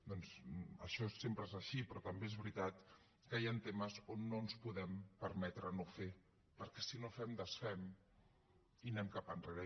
doncs això sempre és així però també és veritat que hi han temes on no ens podem permetre no fer perquè si no fem desfem i anem cap enrere